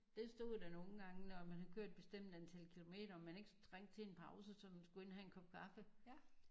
Det stod der nogen gange når man har kørt et bestemt antal kilometer om man ikke skulle trænge til en pause sådan man skulle ind og have en kop kaffe